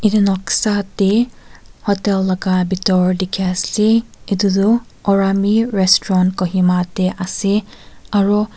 Noksa ti hotel laka bitoor teki ase etu tu orami resturant kohima te ase aru.